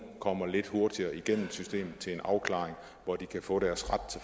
kommer lidt hurtigere igennem systemet til en afklaring hvor de kan få deres ret